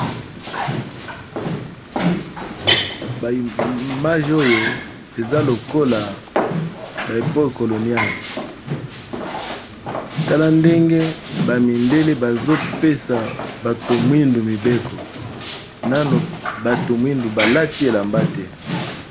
Ba image oyo eza lokola ba epoke koloniale tala ndenge bamidele bazopesa bato mwindu mibeko nano bato mwindu balati elamba te.